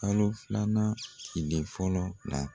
Kalo filanan tile fɔlɔ la.